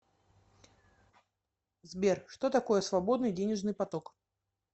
сбер что такое свободный денежный поток